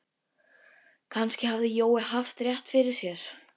Kannski hafði Jói haft rétt fyrir sér.